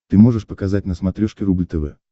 ты можешь показать на смотрешке рубль тв